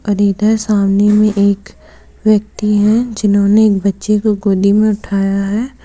इधर सामने में एक व्यक्ति है जिन्होंने एक बच्चे को गोदी में उठाया है।